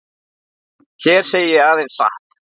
Hér segi ég aðeins satt.